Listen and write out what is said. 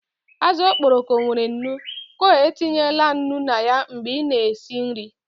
Azụ okporoko nwere nnu, co etinyela nnu na ya mgbe ị na-esi nri